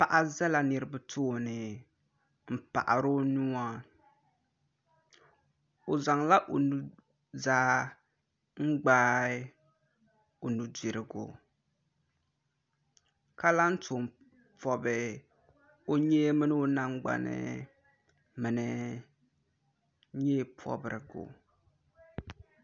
paɣa zala niriba tooni n-paɣiri o nua o zaŋla o nuzaa n-gbaai o nudirigu ka lan tɔm pɔbi o nyee mini o nangbai ni nyɛpɔbirigu